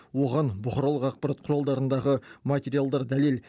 оған бұқаралық ақпарат құралдарындағы материалдар дәлел